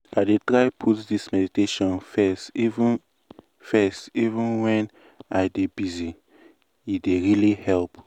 i dey try put this meditation first even first even when i dey busy- e dey really help.